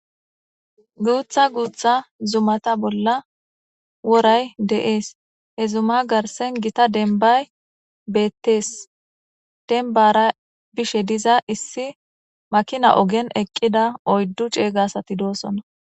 Guutha guutha zumata bolla woray de'ees he zuma garsen gita denbay beettees denbara bishe diza issi makina ogen eqqida oyddu ceeyga sati doosona.